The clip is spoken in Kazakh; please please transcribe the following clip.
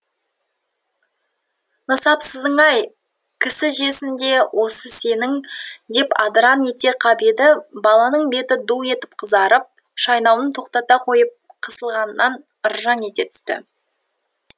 нысапсызың ай кісі жесін де осы сенің деп адыраң ете қап еді баланың беті ду етіп қызарып шайнауын тоқтата қойып қысылғаннан ыржаң ете түсті